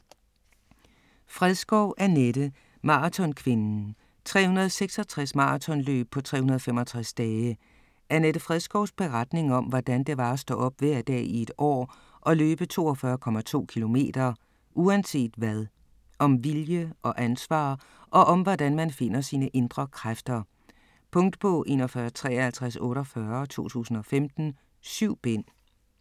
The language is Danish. Fredskov, Annette: Maratonkvinden: 366 maratonløb på 365 dage Annette Fredskovs beretning om, hvordan det var at stå op hver dag i et år og løbe 42,2 kilometer uanset hvad. Om vilje og ansvar og om, hvordan man finder sine indre kræfter. Punktbog 415348 2015. 7 bind.